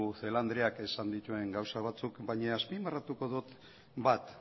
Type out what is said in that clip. celaá andreak esan dituen gauza batzuk baina azpimarratuko dut bat